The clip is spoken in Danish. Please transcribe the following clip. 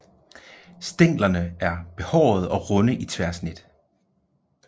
Stænglerne er behårede og runde i tværsnit